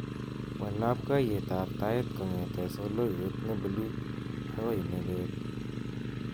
Wal labkeyetab tait kongetee soloiwat ne bluu akoi ne leel